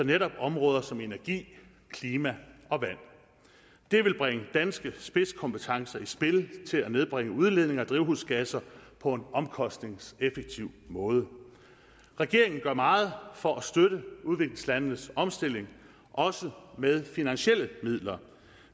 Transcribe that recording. netop områder som energi klima og vand det vil bringe danske spidskompetencer i spil til at nedbringe udledningen af drivhusgasser på en omkostningseffektiv måde regeringen gør meget for at støtte udviklingslandenes omstilling også med finansielle midler